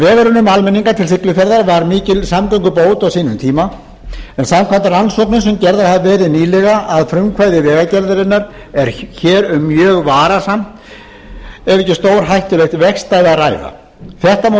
vegurinn um almenninga til siglufjarðar var mikil samgöngubót á sínum tíma en samkvæmt rannsóknum sem gerðar hafa verið nýlega að frumkvæði vegagerðarinnar er hér um mjög varasamt ef ekki stórhættulegt vegstæði að ræða þetta má